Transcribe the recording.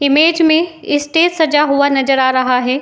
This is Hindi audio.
इमेज में इस्टेज सजा हुआ नज़र आ रहा हैं।